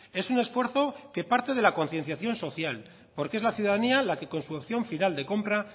es un esfuerzo que parte de la concienciación social porque es la ciudadanía la que con su acción final de compra